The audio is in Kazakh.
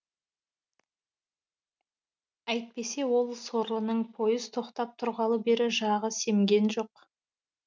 әйтпесе ол сорлының пойыз тоқтап тұрғалы бері жағы семген жоқ